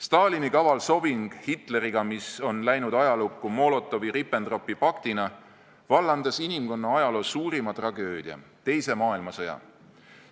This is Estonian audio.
Stalini kaval sobing Hitleriga, mis on läinud ajalukku Molotovi-Ribbentropi paktina, vallandas inimkonna ajaloo suurima tragöödia, teise maailmasõja.